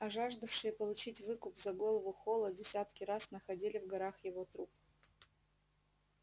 а жаждавшие получить выкуп за голову холла десятки раз находили в горах его труп